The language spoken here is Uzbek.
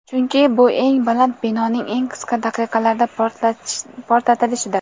chunki bu eng baland binoning eng qisqa daqiqalarda portlatilishidir.